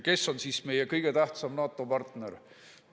Kes on siis meie kõige tähtsam NATO‑partner?